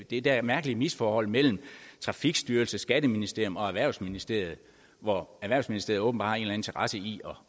det der mærkelige misforhold mellem trafikstyrelsen skatteministeriet og erhvervsministeriet hvor erhvervsministeriet åbenbart har en eller anden interesse i